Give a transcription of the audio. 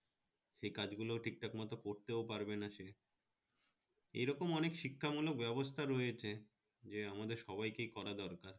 সেই কাজগুলো ঠিকঠাক মত করতে পারবে না এরকম অনেক শিক্ষা মূলক ব্যবস্থা রয়েছে, যে আমাদের সবাইকে করা দরকার